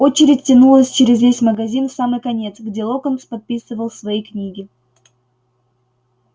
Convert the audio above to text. очередь тянулась через весь магазин в самый конец где локонс подписывал свои книги